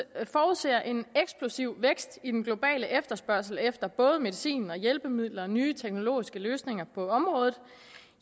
forudser en eksplosiv vækst i den globale efterspørgsel efter både medicin hjælpemidler og nye teknologiske løsninger på området